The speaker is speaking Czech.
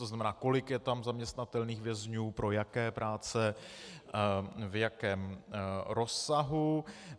To znamená, kolik je tam zaměstnatelných vězňů, pro jaké práce, v jakém rozsahu.